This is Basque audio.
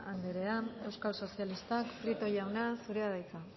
anderea euskal sozialistak prieto jauna zurea da hitza